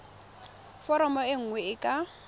foromo e nngwe e ka